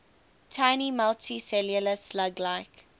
tiny multicellular slug like